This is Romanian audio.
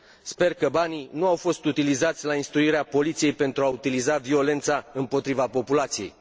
Sper că banii nu au fost utilizați la instruirea poliției pentru a utiliza violența împotriva populației.